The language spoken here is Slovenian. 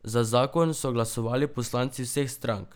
Za zakon so glasovali poslanci vseh strank.